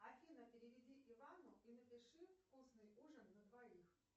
афина переведи ивану и напиши вкусный ужин на двоих